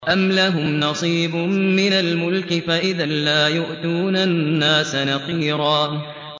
أَمْ لَهُمْ نَصِيبٌ مِّنَ الْمُلْكِ فَإِذًا لَّا يُؤْتُونَ النَّاسَ نَقِيرًا